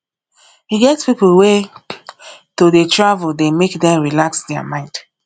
e get pipo wey to dey travel dey make dem relax their mind